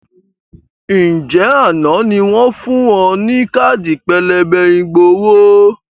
Ǹjẹ́ àná ni wọn fun ọ ní káàdì pélébé ìgbowó?